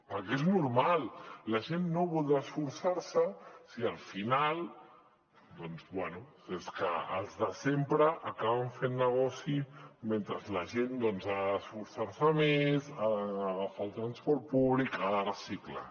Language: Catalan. perquè és normal la gent no voldrà esforçar se si al final doncs bé és que els de sempre acaben fent negoci mentre la gent ha d’esforçar se més ha d’agafar el transport públic ha de reciclar